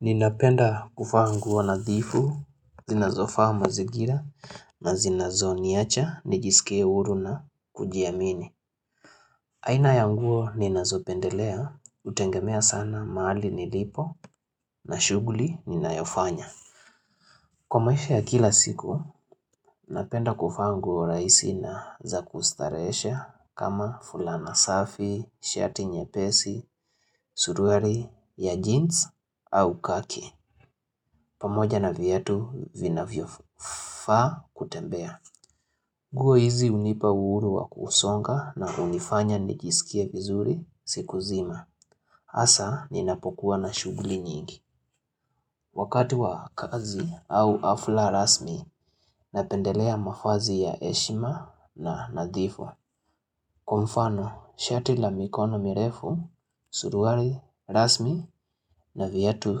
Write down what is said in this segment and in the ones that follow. Ninapenda kuvaa nguo nadhifu, zinazofaa mazingira na zinazoniacha, nijisike huru na kujiamini. Aina ya nguo ninazopendelea hutegemea sana mahali nilipo na shughuli ninayofanya. Kwa maisha ya kila siku, napenda kuvaa nguo rahisi na za kustarehesha kama fulana safi, shati nyepesi, suruali ya jeans au kaki. Pamoja na vyatu vinavyofaa kutembea. Nguo hizi hunipa uhuru wa kusonga na hunifanya nijisikie vizuri siku zima. Hasa ninapokuwa na shughuli nyingi. Wakati wa kazi au hafla rasmi napendelea mavazi ya heshima na nadhifu. Kwa mfano, shati la mikono mirefu, suruali rasmi na viatu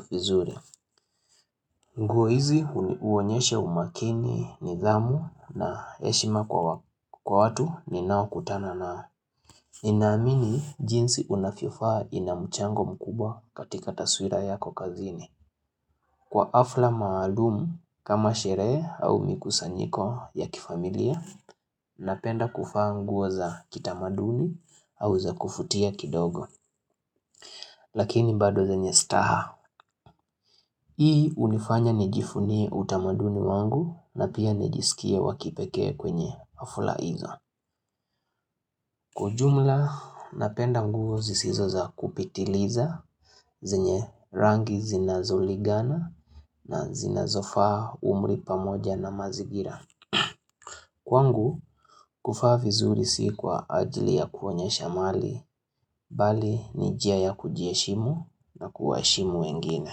vizuri. Nguo hizi huonyesha umakini, nidhamu na heshima kwa watu ninaokutana nao. Ninaamini jinsi unavyovaa ina mchango mkubwa katika taswira yako kazini. Kwa hafla maalumu kama sherehe au mikusanyiko ya kifamilia napenda kuvaa nguo za kitamaduni au za kuvutia kidogo. Lakini bado zenye staha. Hii hunifanya nijivunie utamaduni wangu na pia nijisikie wa kipekee kwenye hafla hizo. Kwa ujumla, napenda nguo zisizo za kupitiliza zenye rangi zinazoligana na zinazofaa umri pamoja na mazingira. Kwangu, kuvaa vizuri si kwa ajili ya kuonyesha mali, bali ni njia ya kujiheshimu na kuwaheshimu wengine.